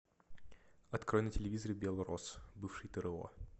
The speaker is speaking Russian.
открой на телевизоре белрос бывший тро